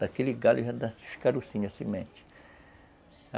Daquele galho já dá-se os carroçinhos, a semente.